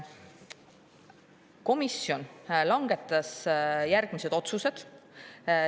Komisjon langetas järgmised otsused.